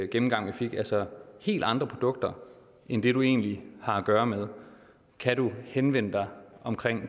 gennemgang vi fik altså helt andre produkter end det du egentlig har at gøre med kan du henvende dig om